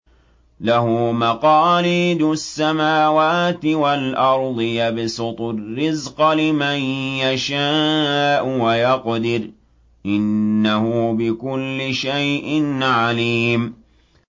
لَهُ مَقَالِيدُ السَّمَاوَاتِ وَالْأَرْضِ ۖ يَبْسُطُ الرِّزْقَ لِمَن يَشَاءُ وَيَقْدِرُ ۚ إِنَّهُ بِكُلِّ شَيْءٍ عَلِيمٌ